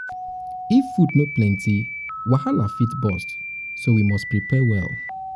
if food no plenty wahala fit burst so we must prepare well.